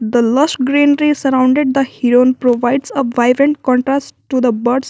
the lots green trees surrounded the provides a vibrant contrast to the birds.